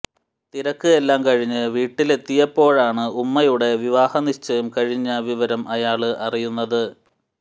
തിരക്ക് എല്ലാം കഴിഞ്ഞ് വീട്ടിലെത്തിയപ്പോഴാണ് ഉമ്മയുടെ വിവാഹ നിശ്ചയം കഴിഞ്ഞ വിവരം അയാള് അറിയുന്നത്